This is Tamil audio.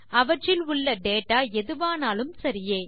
அவற்றில் உள்ள டேட்டா எதுவானாலும் சரியே